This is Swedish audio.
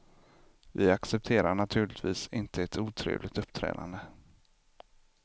Vi accepterar naturligtvis inte ett otrevligt uppträdande.